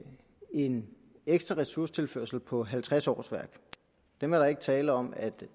en ekstra ressourcetilførsel på halvtreds årsværk og dem er der ikke tale om at